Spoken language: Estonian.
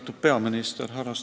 Austatud peaminister!